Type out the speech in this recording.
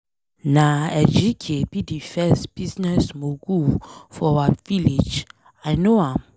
Na Ejike be the first business mogul for our village. I know am.